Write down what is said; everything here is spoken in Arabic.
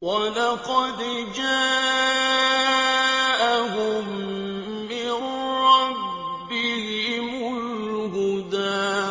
وَلَقَدْ جَاءَهُم مِّن رَّبِّهِمُ الْهُدَىٰ